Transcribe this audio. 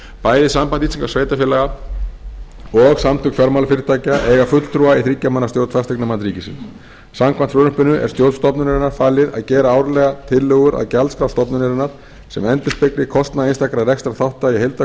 bæði samband íslenskra sveitarfélaga og samtök fjármálafyrirtækja eiga fulltrúa í þriggja manna stjórn fasteignamats ríkisins samkvæmt frumvarpinu er stjórn stofnunarinnar falið að gera árlega tillögur að gjaldskrá stofnunarinnar sem endurspegli kostnað einstakra rekstrarþátta í